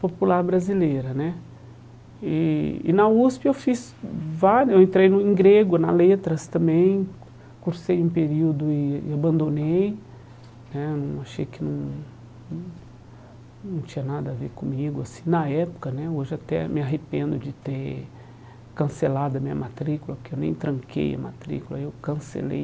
popular brasileira né e e na USP eu fiz vá eu entrei no em grego, na letras também cursei um período e e abandonei né não achei que não não não tinha nada a ver comigo assim na época né, hoje até me arrependo de ter cancelado a minha matrícula porque eu nem tranquei a matrícula, eu cancelei